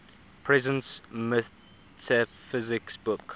presence metaphysics book